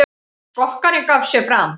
Skokkarinn gaf sig fram